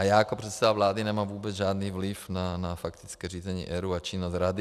A já jako předseda vlády nemám vůbec žádný vliv na faktické řízení ERÚ a činnost rady.